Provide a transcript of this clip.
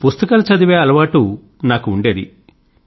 పుస్తకాలు చదివే అలవాటు నాకు ఉండేది